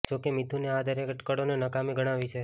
જો કે મિથુને આ દરેક અટકળોને નકામી ગણાવી છે